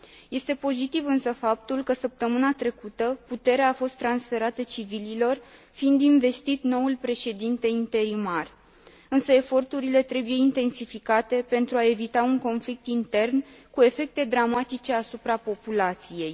Este pozitiv, însă, faptul că săptămâna trecută puterea a fost transferată civililor, fiind investit noul președinte interimar, însă eforturile trebuie intensificate pentru a evita un conflict intern cu efecte dramatice asupra populației.